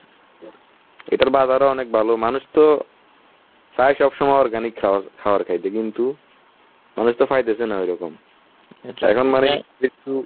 এদের বাজারে অনেক ভালো মানুষ তো চায় সব সময় organic খাবার খাবার খাইছে কিন্তু মানুষ তো পাইতেছে না ওইরকম। এখন মানে একটু